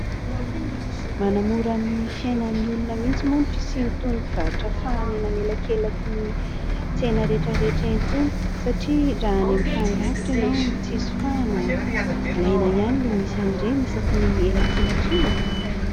Manamora ny fiainan'ny olona mihitsy moa ny fisian'itony mpivarotra fahana eny anelankelankin'ny tsena rehetra rehetra itony satria raha any amin'ny tany lavitra ianao no tsisy fahana, ilaina ihany ilay misy an'ireny isaky ny elankelan-trano e !